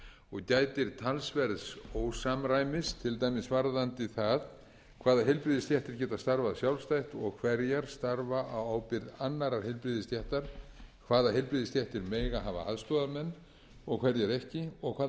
og gætir talsverðs ósamræmis til dæmis varðandi það hvaða heilbrigðisstéttir geta starfað sjálfstætt og hverjar starfa á ábyrgð annarrar heilbrigðisstéttar hvaða heilbrigðisstéttir mega hafa aðstoðarmenn og hverjar ekki og hvaða